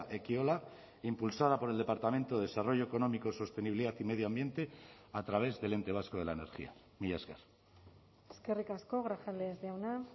ekiola impulsada por el departamento de desarrollo económico sostenibilidad y medio ambiente a través del ente vasco de la energía mila esker eskerrik asko grajales jauna